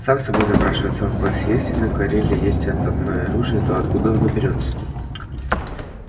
сам собой напрашивается вопрос если на кореле есть атомное оружие то откуда оно берётся